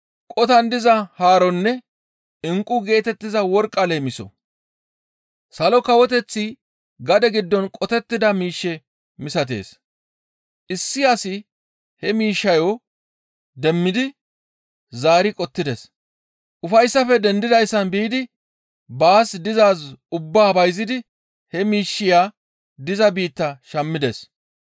«Salo Kawoteththi gade giddon qotettida miishshe misatees. Issi asi he miishshayo demmidi zaari qottides. Ufayssafe dendidayssan biidi baas dizaaz ubbaa bayzidi he miishshiya diza biitta shammides.